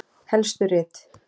Helstu rit